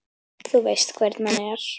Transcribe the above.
Þú veist hvernig hann er.